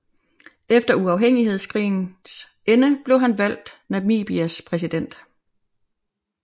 Efter uafhængighedskrigens ende blev han valgt Namibias præsident